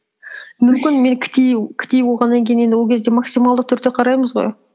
мүмкін мен болғаннан кейін енді ол кезде максималды түрде қараймыз ғой